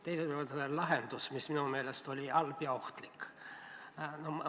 Teiseks, lahendus, mis minu meelest oli halb ja ohtlik.